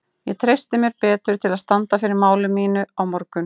Ég treysti mér betur til að standa fyrir máli mínu á morgun.